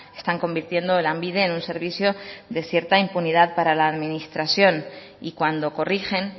están convirtiendo lanbide en un servicio de cierta impunidad para la administración y cuando corrigen